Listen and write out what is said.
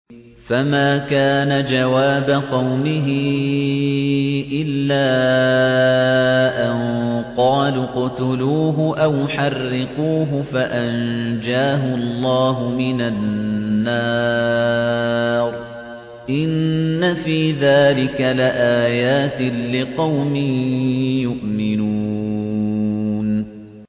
فَمَا كَانَ جَوَابَ قَوْمِهِ إِلَّا أَن قَالُوا اقْتُلُوهُ أَوْ حَرِّقُوهُ فَأَنجَاهُ اللَّهُ مِنَ النَّارِ ۚ إِنَّ فِي ذَٰلِكَ لَآيَاتٍ لِّقَوْمٍ يُؤْمِنُونَ